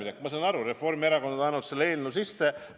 –, siis ma saan aru, Reformierakond on andnud selle eelnõu sisse.